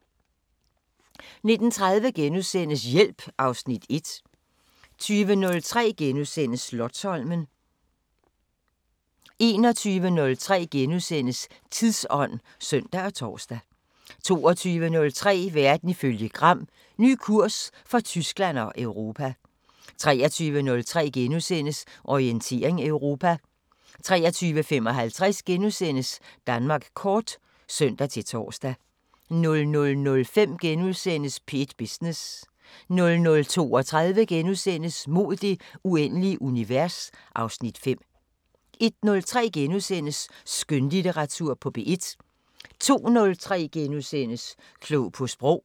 19:30: Hjælp (Afs. 1)* 20:03: Slotsholmen * 21:03: Tidsånd *(søn og tor) 22:03: Verden ifølge Gram: Ny kurs for Tyskland og Europa 23:03: Orientering Europa * 23:55: Danmark kort *(søn-tor) 00:05: P1 Business * 00:32: Mod det uendelige univers (Afs. 5)* 01:03: Skønlitteratur på P1 * 02:03: Klog på sprog *